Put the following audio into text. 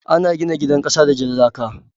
Ana gina gidan kasa da jan laka.